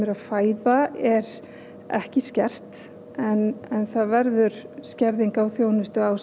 eru að fæða er ekki skert en það verður skerðing á þjónustu á